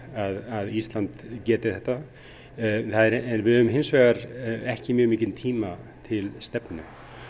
að Ísland geti þetta en við höfum hins vegar ekki mjög mikinn tíma til stefnu